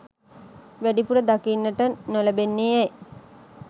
වැඩිපුර දකින්නට නොලැබෙන්නේ ඇයි?